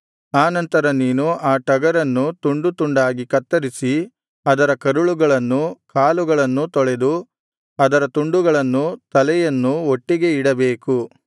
ಆ ನಂತರ ನೀನು ಆ ಟಗರನ್ನು ತುಂಡು ತುಂಡಾಗಿ ಕತ್ತರಿಸಿ ಅದರ ಕರಳುಗಳನ್ನೂ ಕಾಲುಗಳನ್ನೂ ತೊಳೆದು ಅದರ ತುಂಡುಗಳನ್ನೂ ತಲೆಯನ್ನೂ ಒಟ್ಟಿಗೆ ಇಡಬೇಕು